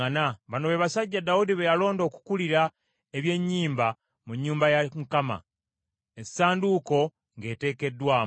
Bano be basajja Dawudi be yalonda okukulira eby’ennyimba mu nnyumba ya Mukama , essanduuko ng’eteekeddwamu.